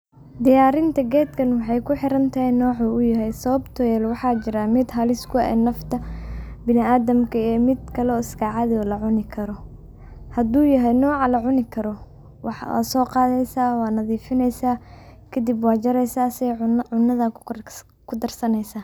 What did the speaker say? Diyarinta geed kaan waxaay kuxiran tahaay noco uu yahaay sababto eh waxa jiraan miid haliis ku eeh nafta binaadamka iyo miidkale iska caadhi eh oo lacuni karoo, haduu yahaay noca lacuni karoo waxa sooqadheysa wanadhifineysa kadiib wajareeysa cunadha kudar saneysa .